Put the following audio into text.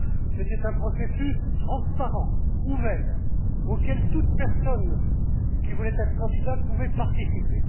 C'était un processus transparent, ouvert, auquel toute personne qui voulait être candidate pouvait participer.